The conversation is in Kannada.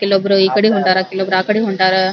ಕೆಲಒಬ್ರ ಈಕಡೆ ಹೊಂಟಾರ ಕೆಲೊಬ್ಬರು ಆಕಡೆ ಹೊಂಟಾರ --